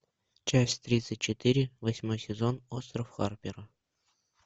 часть тридцать четыре восьмой сезон остров харпера